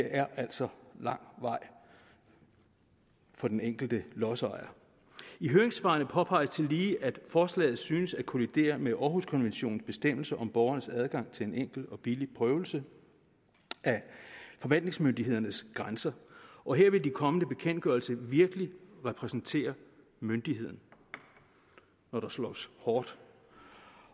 er altså lang vej for den enkelte lodsejer i høringssvarene påpeges tillige at forslaget synes at kollidere med århuskonventionens bestemmelser om borgernes adgang til en enkel og billig prøvelse af forvaltningsmyndighedernes grænser og her vil de kommende bekendtgørelser virkelig repræsentere myndigheden når der slås hårdt